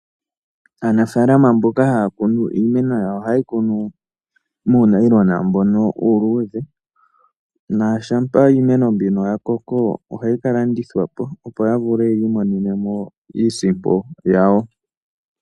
Aanafaalama mboka haya kunu iimeno yawo ohayeyi kunu muunayilona uuludhe. Shampa iimeno mbino yakoko, ohayi kalandithapo, opo yavule yiimonene mo iisimpo yawo.